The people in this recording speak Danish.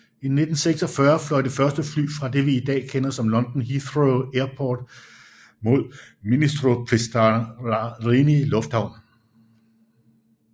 I 1946 fløj det første fly fra det vi i dag kender som London Heathrow Airport mod Ministro Pistarini Lufthavn